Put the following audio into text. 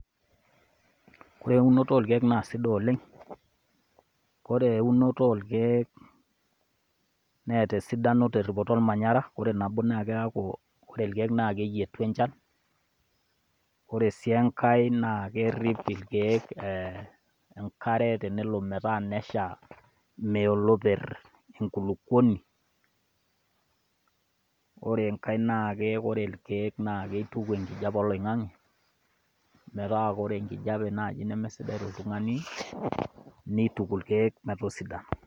Ore eunoto orkeek na sidai oleng'. Ore eunoto orkeek neeta esidano teripoto ormanyara. Ore nabo naa keaku ore irkeek na keyietu enchan, ore sii enkae na kerip irkeek enkare tenelo meeta nesha, meya oleper enkulupuoni. ore enkae naa ore irkeek naa kituku enkijape oloing'ange, meeta ore enkajape naaji nemesidai toltung'ani, neituki irkeek metosidan.